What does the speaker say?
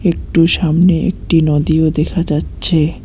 একটু সামনে একটি নদীও দেখা যাচ্ছে।